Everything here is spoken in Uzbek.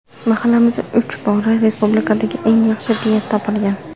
Mahallamiz uch bora respublikadagi eng yaxshi deya topilgan.